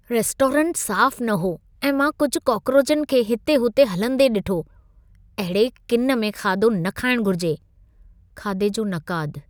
रेस्टोरेंटु साफ़ न हो ऐं मां कुझ कोकरोचनि खे हिते हुते हलंदे ॾिठो। अहिड़े किन में खाधो न खाइणु घुर्जे (खाधे जो नक़ादु)